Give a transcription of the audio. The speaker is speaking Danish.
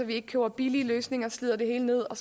ikke køber billige løsninger og slider det hele ned og